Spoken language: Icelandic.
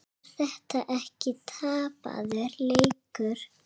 Er þetta ekki tapaður leikur?